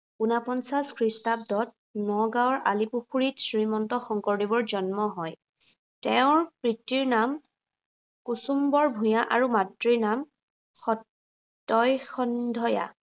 উনপঞ্চাশ খ্ৰীষ্টাব্দত নগাঁৱৰ আলিপুখুৰীত শ্ৰীমন্ত শংকৰদেৱৰ জন্ম হয়। তেওঁৰ পিতৃৰ নাম, কুসুম্বৰ ভূঞা আৰু মাতৃৰ নাম সত্য়ই সন্ধইয়া।